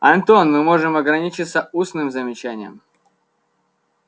антон мы можем ограничиться устным замечанием